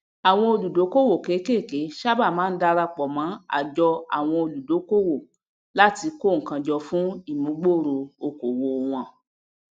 àwon olùdókòwò kéékèèké sábà máa n darapọ mọ àjọ àwoọn olùdókòwò láti kó nnkan jọ fún ìmúgbòòro òkòwò wọn